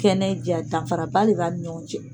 Kɛnɛ ja danfaraba le ba ale ni ɲɔgɔn cɛ.